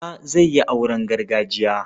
Auta zai yi auren gargajiya.